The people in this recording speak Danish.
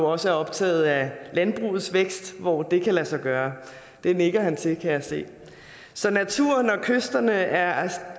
også er optaget af landbrugets vækst hvor det kan lade sig gøre det nikker ministeren til kan jeg se så naturen og kysterne er